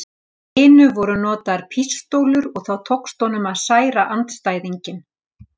hinu voru notaðar pístólur og þá tókst honum að særa andstæðinginn.